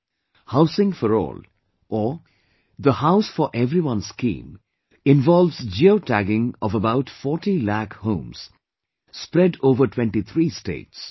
"Housing for all" or the "House for everyone" scheme involves geotagging of about 40 lakh homes spread over 23 states